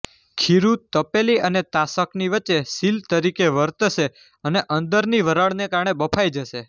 ખીરૂં તપેલી અને તાસકની વચ્ચે સીલ તરિકે વર્તશે અને અંદરની વરાળને કારણે બફાઈ જશે